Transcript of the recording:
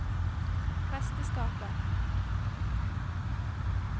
presteskapet